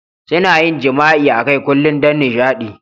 Suna yin jima'i akai Kulun don nishaɗi.